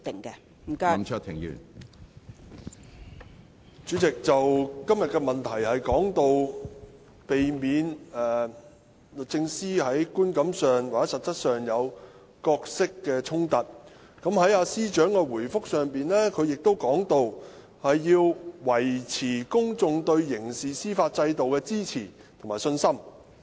主席，今天的主體質詢關於如何避免律政司司長在觀感上或實際上有角色衝突，而司長亦在主體答覆中提及要維持公眾對刑事司法制度的支持和信心。